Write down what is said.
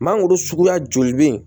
Mangoro suguya joli bɛ yen